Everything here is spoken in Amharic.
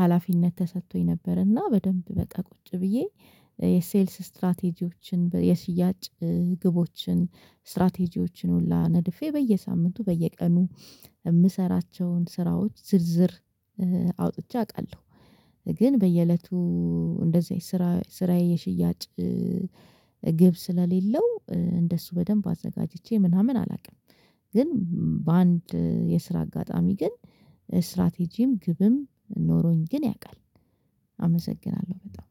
ሀላፊነት ተሰጥቶኝ ነበር። እና በደንብ በቃ ቁጭ ብዬ የሴልስ ስትራቴጂዎችን የሽያጭ ግቦችን ስትራቴጂዎችን ሁላ ነድፌ በየሳምንቱ በየቀኑ የምሰራቸውን ስራዎች ዝርዝር አውጥቼ አውቃለሁ። ግን በየእለቱ እንደዚህ ስራ ስራዬ የሽያጭ ግብ ስለሌለው እንደሱ በደንብ አዘጋጅቼ ምናምን አላውቅም። ግን በአንድ የስራ አጋጣሚ ግን ስትራቴጂም ግብም ኖሮኝ ግን ያውቃል። አመሰግናለሁ በጣም።